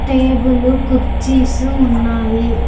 Table కుర్చీస్ ఉన్నాయి.